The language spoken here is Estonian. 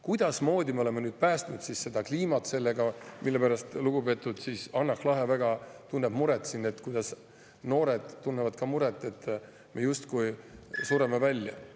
Kuidasmoodi me oleme päästnud sellega siis kliima, mille pärast lugupeetud Hanah Lahe väga tunneb muret, noored tunnevad muret, et me justkui sureme välja?